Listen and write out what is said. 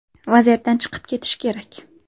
Vaziyatdan chiqib ketish kerak.